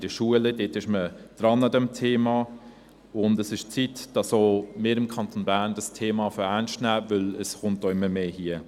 In den Schulen ist man an diesem Thema dran, und es ist an der Zeit, dass auch wir im Kanton Bern das Thema ernst nehmen, weil es auch hier immer mehr vorkommt.